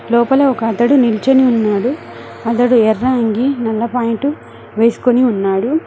లోపల ఒక అతడు నిల్చోని ఉన్నాడు అతడు ఎర్రంగి నల్ల పాయింటు వేసుకుని ఉన్నాడు